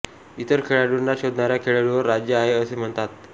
इतर खेळाडूंना शोधणाऱ्या खेळाडूवर राज्य आहे असे म्हणतात